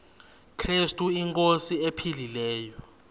krestu inkosi ephilileyo